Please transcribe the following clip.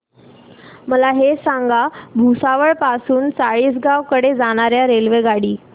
मला हे सांगा भुसावळ पासून चाळीसगाव कडे जाणार्या रेल्वेगाडी